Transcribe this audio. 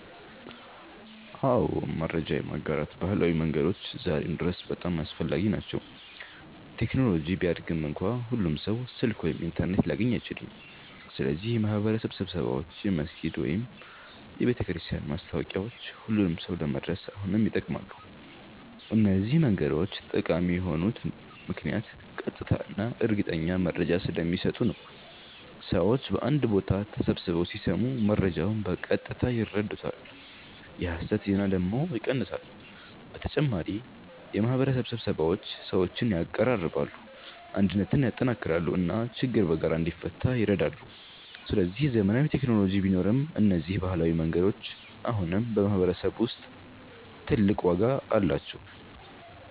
አዎ፣ መረጃ የማጋራት ባህላዊ መንገዶች ዛሬም ድረስ በጣም አስፈላጊ ናቸው። ቴክኖሎጂ ቢያድግም እንኳ ሁሉም ሰው ስልክ ወይም ኢንተርኔት ሊያገኝ አይችልም። ስለዚህ የማህበረሰብ ስብሰባዎች፣ የመስጊድ ወይም የቤተክርስቲያን ማስታወቂያዎች ሁሉንም ሰው ለመድረስ አሁንም ይጠቅማሉ። እነዚህ መንገዶች ጠቃሚ የሆኑት ምክንያት ቀጥታ እና እርግጠኛ መረጃ ስለሚሰጡ ነው። ሰዎች በአንድ ቦታ ተሰብስበው ሲሰሙ መረጃውን በቀጥታ ይረዱታል፣ የሐሰት ዜና ደግሞ ይቀንሳል። በተጨማሪ የማህበረሰብ ስብሰባዎች ሰዎችን ያቀራርባሉ፣ አንድነትን ያጠናክራሉ እና ችግር በጋራ እንዲፈታ ይረዳሉ። ስለዚህ ዘመናዊ ቴክኖሎጂ ቢኖርም እነዚህ ባህላዊ መንገዶች አሁንም በማህበረሰብ ውስጥ ትልቅ ዋጋ አላቸው።